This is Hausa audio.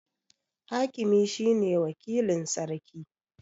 Hakimi shine wakilin Sarki